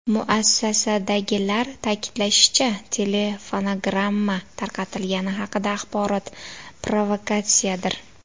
Muassasadagilar ta’kidlashicha, telefonogramma tarqatilgani haqidagi axborot provokatsiyadir.